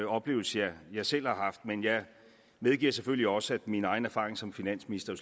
oplevelse jeg selv har haft men jeg medgiver selvfølgelig også at min egen erfaring som finansminister